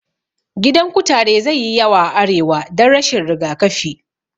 Gidan kutare zai yi yawa a arewa dan rashin rigakafi